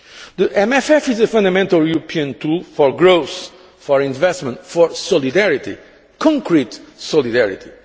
The MFF is a fundamental European tool for growth, for investment, for solidarity concrete solidarity.